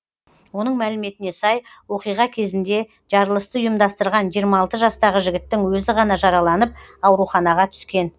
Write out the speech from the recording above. оның мәліметіне сай оқиға кезінде жарылысты ұйымдастырған жиырма алты жастағы жігіттің өзі ғана жараланып ауруханаға түскен